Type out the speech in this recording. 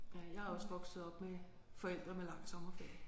Ja jeg er også vokset op med forældre med lang sommerferie